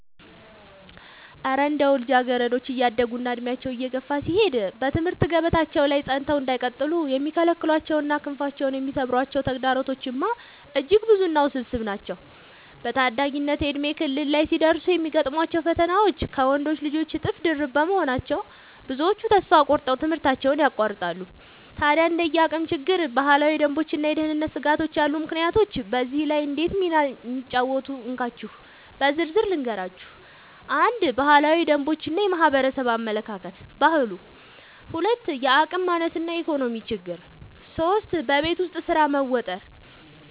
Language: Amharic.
እረ እንደው ልጃገረዶች እያደጉና ዕድሜያቸው እየገፋ ሲሄድ በትምህርት ገበታቸው ላይ ጸንተው እንዳይቀጥሉ የሚከለክሏቸውና ክንፋቸውን የሚሰብሯቸው ተግዳሮቶችማ እጅግ ብዙና ውስብስብ ናቸው! በታዳጊነት የእድሜ ክልል ላይ ሲደርሱ የሚገጥሟቸው ፈተናዎች ከወንዶች ልጆች እጥፍ ድርብ በመሆናቸው፣ ብዙዎቹ ተስፋ ቆርጠው ትምህርታቸውን ያቋርጣሉ። ታዲያ እንደ የአቅም ችግር፣ ባህላዊ ደንቦችና የደህንነት ስጋቶች ያሉ ምክንያቶች በዚህ ላይ እንዴት ሚና እንደሚጫወቱ እንካችሁ በዝርዝር ልንገራችሁ፦ 1. ባህላዊ ደንቦች እና የማህበረሰብ አመለካከት (ባህሉ) 2. የአቅም ማነስ እና የኢኮኖሚ ችግር 3. በቤት ውስጥ ስራ መወጠር መወጠር